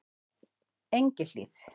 Engihlíð